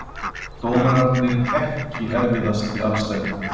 Dómararnir EKKI erfiðasti andstæðingur?